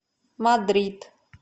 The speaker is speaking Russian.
мадрид